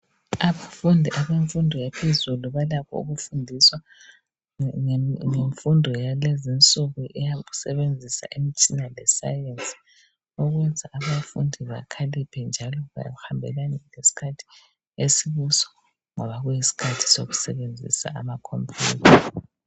Abafundi abemfundo yaphezulu balakho kufundiswa ngemfundo yakulezinsuku yokusebesebenzisa imitshina yesayensi. Ukuze abafundi bakhaliphe njalo babambisane lesikhathi salezi insuku. Ngoba kuyisikhathi zokusebenzisa amakhompuyutha.